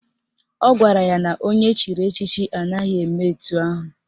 Ọ gwara ya na onye echiri echichi anaghị eme etu ahụ